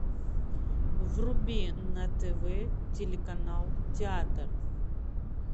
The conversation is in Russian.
вруби на тв телеканал театр